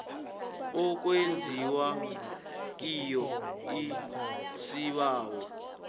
okwenziwa kiyo isibawo